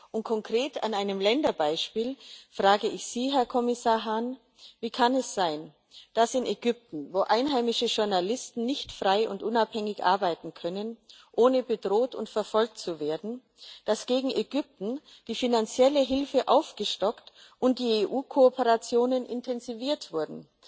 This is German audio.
Und konkret an einem Länderbeispiel frage ich Sie, Herr Kommissar Hahn Wie kann es sein, dass in Ägypten, wo einheimische Journalisten nicht frei und unabhängig arbeiten können, ohne bedroht und verfolgt zu werden, die finanzielle Hilfe aufgestockt und die EU Kooperationen intensiviert wurden